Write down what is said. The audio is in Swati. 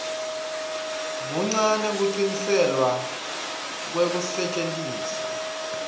kuncane kucikelelwa kwekusetjentiswa